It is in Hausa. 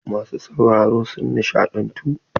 Masu sauraro sun nishaɗantu.